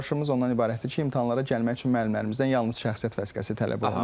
əsas çağırışımız ondan ibarətdir ki, imtahanlara gəlmək üçün müəllimlərimizdən yalnız şəxsiyyət vəsiqəsi tələb olunur.